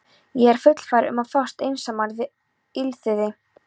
Ég er fullfær um að fást einsamall við illþýði!